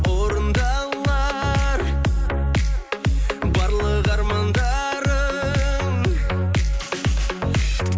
орындалар барлық армандарың